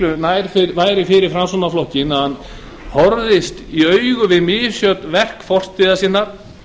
miklu nær væri fyrir framsóknarflokkinn að horfast í augu við misjöfn verk fortíðar sinnar